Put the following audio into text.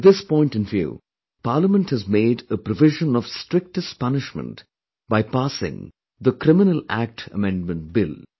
With this point in view Parliament has made a provision of strictest punishment by passing the Criminal Act Amendment Bill